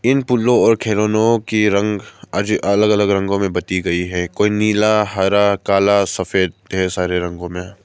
इन और खिलौनों की रंग अलग अलग रंगों में बटी गई है कोई नीला हरा काला सफेद ढेर सारे रंगों में है।